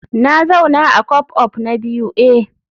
Na zauna a co-op na biyu eh